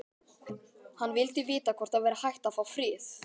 Hann vildi vita hvort það væri hægt að fá frið.